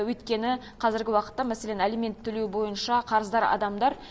өйткені қазіргі уақытта мәселен алимент төлеу бойынша қарыздар адамдар